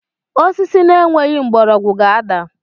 Osisi na-enweghị mgbọrọgwụ ga-ada.